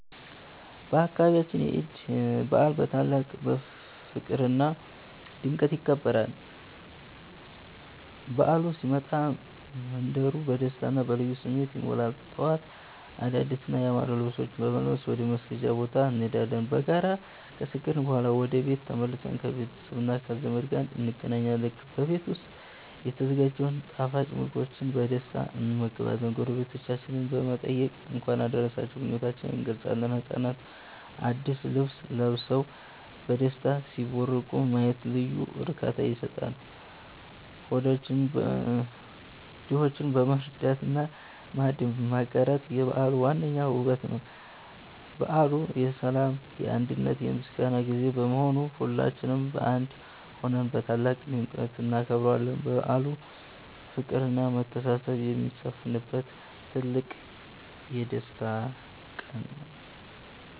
በአካባቢያችን የዒድ በዓል በታላቅ ፍቅርና ድምቀት ይከበራል። በዓሉ ሲመጣ መንደሩ በደስታና በልዩ ስሜት ይሞላል። ጠዋት አዳዲስና ያማሩ ልብሶችን በመልበስ ወደ መስገጃ ቦታ እንሄዳለን። በጋራ ከሰገድን በኋላ ወደ ቤት ተመልሰን ከቤተሰብና ከዘመድ ጋር እንገናኛለን። በቤት ዉስጥ የተዘጋጀውን ጣፋጭ ምግቦችን በደስታ እንመገባለን። ጎረቤቶቻችንን በመጠየቅ የእንኳን አደረሳችሁ ምኞታችንን እንገልጻለን። ህጻናትም አዲስ ልብስ ለብሰው በደስታ ሲቦርቁ ማየት ልዩ እርካታ ይሰጣል። ድሆችን መርዳትና ማዕድ ማጋራት የበዓሉ ዋነኛው ውበት ነው። በዓሉ የሰላም፣ የአንድነትና የምስጋና ጊዜ በመሆኑ ሁላችንም በአንድ ሆነን በታላቅ ድምቀት እናከብረዋለን። በዓሉ ፍቅርና መተሳሰብ የሚሰፍንበት ትልቅ የደስታ ቀን ነው።